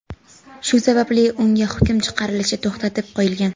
Shu sababli unga hukm chiqarilishi to‘xtatib qo‘yilgan.